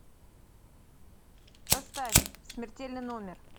поставь смертельный номер